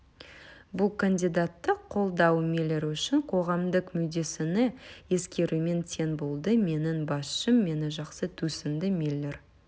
бұл кандидатты қолдау миллер үшін қоғамдық мүддені ескерумен тең болды менің басшым мені жақсы түсінді миллер